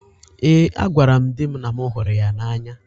Ee, agwara m di m na m hụrụ ya n’anya